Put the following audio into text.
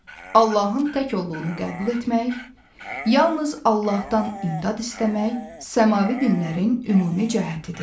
Allahın tək olduğunu qəbul etmək, yalnız Allahdan imdad istəmək, səmavi dinlərin ümumi cəhətidir.